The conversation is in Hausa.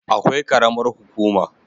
Akwai karamar hukuma